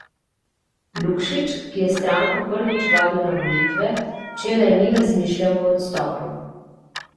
Lukšič, ki je stranko prvič vodil na volitve, včeraj ni razmišljal o odstopu.